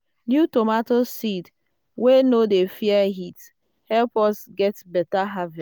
new tomato seed wey no dey fear heat help us get better harvest.